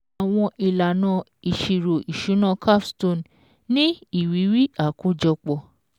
Àwọn ìlànà ìṣirò ìṣúná CAPSTONE ní Ìrírí àkójọpọ̀